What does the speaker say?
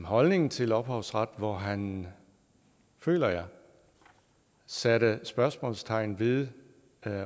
holdning til ophavsret hvor han føler jeg satte spørgsmålstegn ved